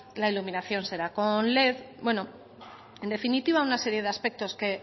la iluminación será con led bueno en definitiva una serie de aspectos que